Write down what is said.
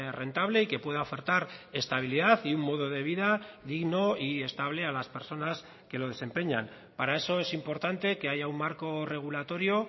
rentable y que pueda ofertar estabilidad y un modo de vida digno y estable a las personas que lo desempeñan para eso es importante que haya un marco regulatorio